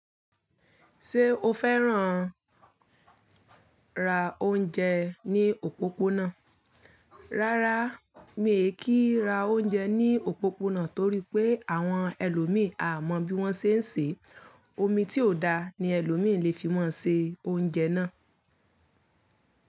Ṣé o fẹ́ràn lati maa ra oúnjẹ ní òpópónà? Rárá, mi ò kí n ra oúnjẹ ní òpópónà torí pé àwọn ẹlòmíì a mọ bí wọ́n ṣe ń ṣe. Omi tí ò da ni ẹlòmíì lè fi máa ń ṣe oúnjẹ náà.